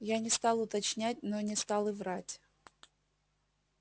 я не стал уточнять но не стал и врать